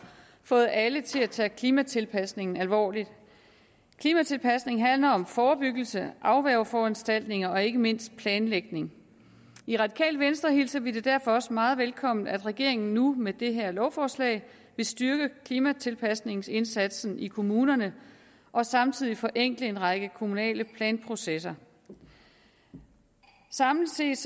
fået alle til at tage klimatilpasningen alvorligt klimatilpasningen handler om forebyggelse afværgeforanstaltninger og ikke mindst planlægning i radikale venstre hilser vi det derfor også meget velkommen at regeringen nu med det her lovforslag vil styrke klimatilpasningsindsatsen i kommunerne og samtidig forenkle en række kommunale planprocesser samlet set